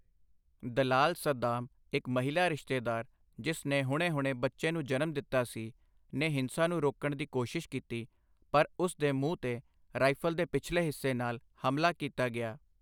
ਦਲਾਲ ਸਦਾਮ, ਇੱਕ ਮਹਿਲਾ ਰਿਸ਼ਤੇਦਾਰ, ਜਿਸ ਨੇ ਹੁਣੇ-ਹੁਣੇ ਬੱਚੇ ਨੂੰ ਜਨਮ ਦਿੱਤਾ ਸੀ, ਨੇ ਹਿੰਸਾ ਨੂੰ ਰੋਕਣ ਦੀ ਕੋਸ਼ਿਸ਼ ਕੀਤੀ, ਪਰ ਉਸ ਦੇ ਮੂੰਹ 'ਤੇ ਰਾਈਫ਼ਲ ਦੇ ਪਿਛਲੇ ਹਿੱਸੇ ਨਾਲ ਹਮਲਾ ਕੀਤਾ ਗਿਆ।